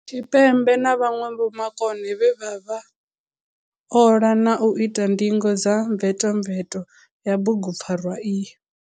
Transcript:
Tshipembe na vhanwe vhomakone vhe vha ola na u ita ndingo dza mvetomveto ya bugupfarwa iyi.